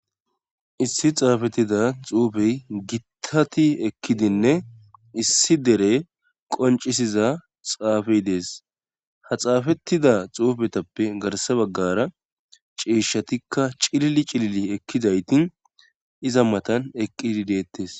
issi xaafettida xuufey gittati ekkidinne issi dere qoncisiza xaafey dees ha xaafettida xuufetappe garsa baggara ciishshatikka cilili cilili ekkidayti iza matan eqqidi deettes